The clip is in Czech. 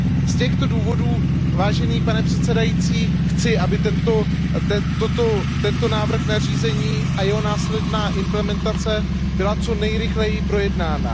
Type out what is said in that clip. Z těchto důvodů, vážený pane předsedající, chci, aby tento návrh nařízení a jeho následná implementace byly co nejrychleji projednány.